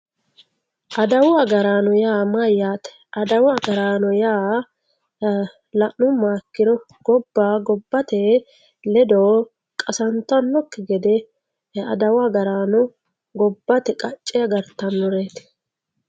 adawu agaraano yaa mayyate adawu agaraano yaa la'nummoha ikkro gobba gobbate ledo qasantannokki gede gobbate qacce agartannoreeti.